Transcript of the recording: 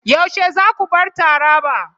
Yaushe za ku bar Taraba?